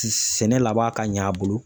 Sɛnɛ laban ka ɲɛ a bolo.